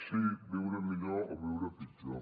sí viure millor o viure pitjor